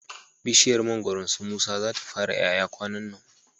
Bishiyar mangoron su musa za ta fara ƴaƴa kwanannan